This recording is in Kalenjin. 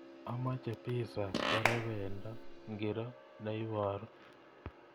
Amache pissa korebendo ngiro neibaru